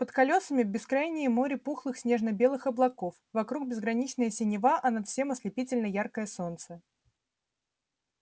под колёсами бескрайнее море пухлых снежно-белых облаков вокруг безграничная синева а над всем ослепительно яркое солнце